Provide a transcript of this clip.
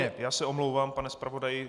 Ne, já se omlouvám, pane zpravodaji.